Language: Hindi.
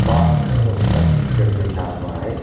पास में उनका टीचर बैठा हुआ है।